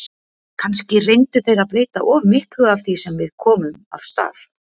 Kannski reyndu þeir að breyta of miklu af því sem við komum af stað.